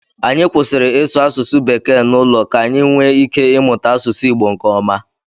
Anyị kwụsịrị ịsụ asụsụ bekee n'ụlọ ka anyị nwee ike ịmụta asụsụ Igbo nkeọma.